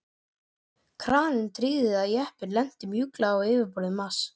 Kraninn tryggði að jeppinn lenti mjúklega á yfirborði Mars.